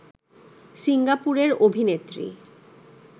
সিঙ্গাপুরের অভিনেত্রী